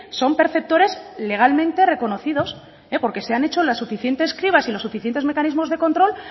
son perceptores legalmente reconocidos porque se han hecho las suficientes cribas y los suficientes mecanismos de control